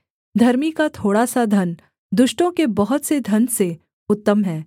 धर्मी का थोड़ा सा धन दुष्टों के बहुत से धन से उत्तम है